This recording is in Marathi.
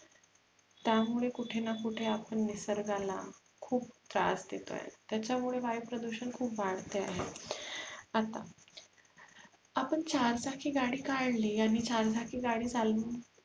त्यामुळे कूठे ना कुठे आपण निसर्गाला खुप त्रास देतोय त्याच्यामुळे वायु प्रदुषण खुप वाढतेय आता आपण चारचाकी गाडी काढली आणि चारचाकी गाडी चालवून